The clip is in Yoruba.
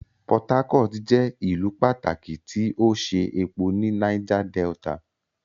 Port Harcourt jẹ ìlú pàtàkì ti o ṣe epo ní Niger Delta.